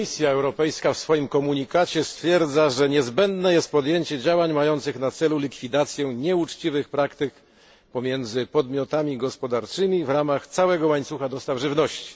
Komisja Europejska w swoim komunikacie stwierdza, że niezbędne jest podjęcie działań mających na celu likwidację nieuczciwych praktyk pomiędzy podmiotami gospodarczymi w ramach całego łańcucha dostaw żywności.